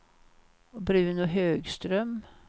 Bruno Högström